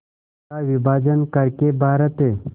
का विभाजन कर के भारत